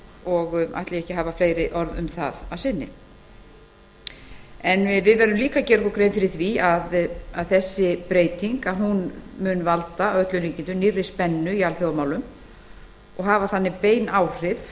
og ætla ég ekki að hafa fleiri orð um það að sinni við verðum líka að gera okkur grein fyrir því að þessi þróun mun að öllum líkindum valda nýrri spennu í alþjóðamálum og hafa þannig bein áhrif